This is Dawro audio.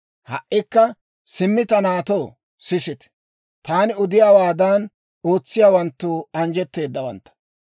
«Ha"ikka simmi ta naatoo, sisite; taani odiyaawaadan ootsiyaawanttu anjjetteedawantta.